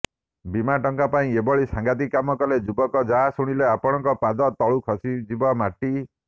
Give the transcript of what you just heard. ବୀମା ଟଙ୍କା ପାଇଁ ଏଭଳି ସାଂଘାତିକ କାମ କଲେ ଯୁବକ ଯାହା ଶୁଣିଲେ ଆପଣଙ୍କ ପାଦ ତଳୁ ଖସିଯିବ ମାଟି